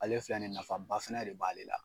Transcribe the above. Ale filɛ ni ye nafa ba fɛnɛ de b'ale la